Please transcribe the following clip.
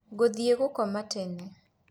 Ngũthĩe gũkoma tene